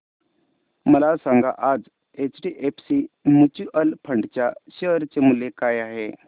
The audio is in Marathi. मला सांगा आज एचडीएफसी म्यूचुअल फंड च्या शेअर चे मूल्य काय आहे